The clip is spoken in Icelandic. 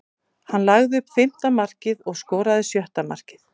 Hann lagði upp fimmta markið og skoraði sjötta markið.